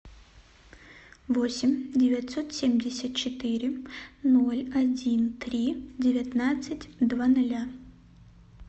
восемь девятьсот семьдесят четыре ноль один три девятнадцать два ноля